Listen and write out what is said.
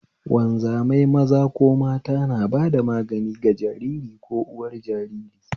Wanzamai maza ko mata na bada magani ga jariri ko uwar jariri